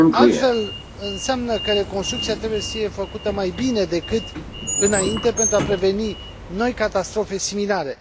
Altfel înseamnă că reconstrucția trebuie făcută mai bine decât înainte, pentru a preveni noi catastrofe similare.